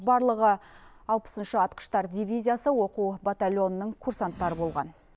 барлығы алпысыншы атқыштар дивизиясы оқу батальонының курсанттары болған